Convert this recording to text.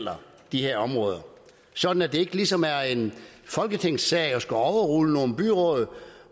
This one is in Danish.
de her områder sådan at det ikke ligesom er en folketingssag at skulle overrule nogle byråd